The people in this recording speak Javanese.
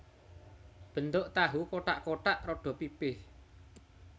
Bentuk tahu kothak kothak rada pipih